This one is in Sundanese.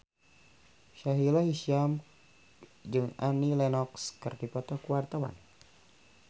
Sahila Hisyam jeung Annie Lenox keur dipoto ku wartawan